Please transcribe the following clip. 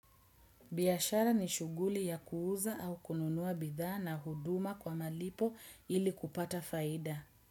Biashara ni shuguli ya kuuza au kununua bidhaa na huduma kwa malipo ili kupata faida.